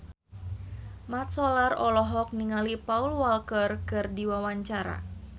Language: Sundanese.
Mat Solar olohok ningali Paul Walker keur diwawancara